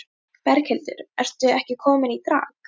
Berghildur, ertu ekki komin í drag?